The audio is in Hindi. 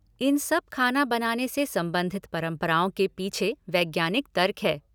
इन सब खाना बनाने से संबंधित परंपराओं के पीछ वैज्ञानिक तर्क है।